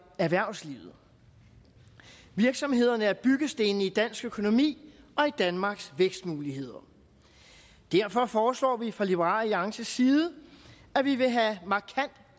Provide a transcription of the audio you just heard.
erhvervslivet virksomhederne er byggestenene i dansk økonomi og i danmarks vækstmuligheder derfor foreslår vi fra liberal alliances side at vi vil have markant